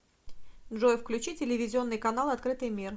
джой включи телевизионный канал открытый мир